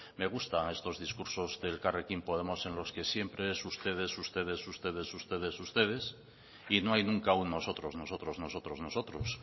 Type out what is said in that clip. me gustan estos discursos den elkarrekin podemos en los que siempre es ustedes ustedes ustedes ustedes ustedes y no hay nunca un nosotros nosotros nosotros nosotros